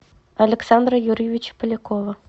александра юрьевича полякова